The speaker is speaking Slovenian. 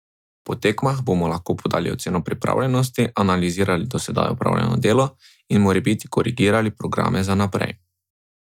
Po tekmah bomo lahko podali oceno pripravljenosti, analizirali do zdaj opravljeno delo in morebiti korigirali programe za naprej.